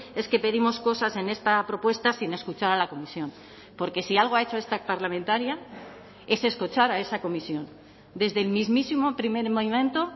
es que pedimos cosas en esta propuesta sin escuchar a la comisión porque si algo ha hecho esta parlamentaria es escuchar a esa comisión desde el mismísimo primer momento